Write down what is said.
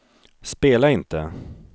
spela inte